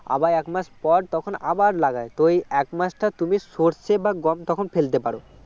আবার এক মাস পর তখন আবার লাগায় তো এই এক মাসটা তুমি সর্ষে বা গম তখন ফেলতে পারো